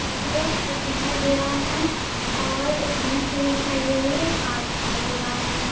जिसमे एक ट्रिप दिखाई दे रहा है और एक जीप खड़ी दिखाई दे रही है और एक कार दिखाई दे रहा है।